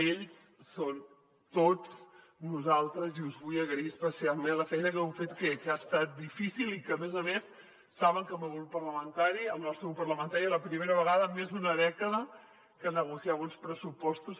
ells són tots nosaltres i us vull agrair especialment la feina que heu fet que ha estat difícil i a més a més saben que el meu grup parlamentari el nostre grup parlamentari és la primera vegada en més d’una dècada que negociava uns pressupostos